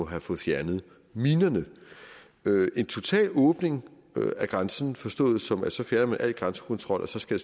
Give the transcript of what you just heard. have fået fjernet minerne en total åbning af grænsen forstået som at så fjerner man al grænsekontrol og så skal